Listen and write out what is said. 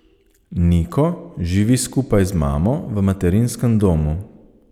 Niko živi skupaj z mamo v materinskem domu.